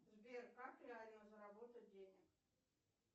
сбер как реально заработать денег